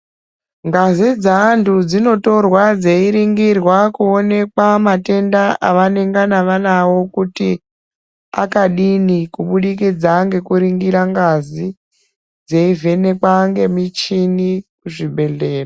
Ngazi dzeantu dzinotorwa dzeiringirwa kuonekwa matenda avanengana vanawo kuti akadini kubudikidza ngekuringira ngazi dzeivhenekwa ngemichini kuzvibhehlera.